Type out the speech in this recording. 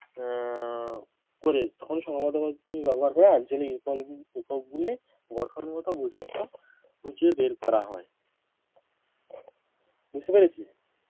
আহ করে তখন সম্ভবত পদ্ধতি ব্যবহার করে আঞ্চলিক একক একক গুলি গঠনগত বৈশিষ্ট্য খুঁজে বের করা হয় বুঝতে পেরেছিস